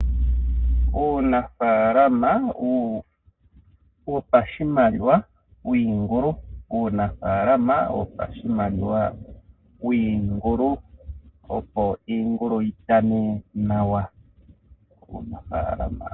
Uunafalama wopashimaliwa wiingulu, Uunafalama wopashimaliwa wiingulu opo iingulu yitane nawa.